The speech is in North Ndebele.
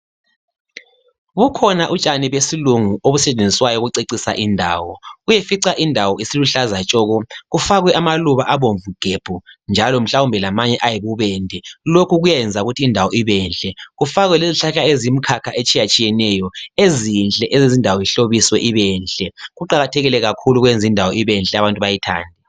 Bukhona utshani besilungu obusetshenziswayo ukucecisa indawo uyefica indawo isiluhlaza tshoko kufakwe amaluba abomvu gebhu njalo mhlawumbe lamanye ayibubende lokhu ukuyenza indawo ukuthi ibenhle. Kufakwe lezihlahla eziyimkhakha etshiyetshiyeneyo ezinhle ezenza indawo ihlobiswe ibenhle . Kuqakathekile kakhulu ukwenze indawo ibenhle abantu bayithande.